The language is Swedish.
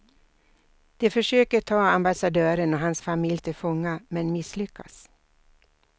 De försöker ta ambassadören och hans familj till fånga, men misslyckas.